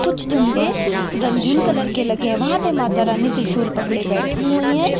कुछ झंडे रंगीन कलर के लगे हैं वहां पे माता रानी त्रिशूल पकड़े बैठी हुई है।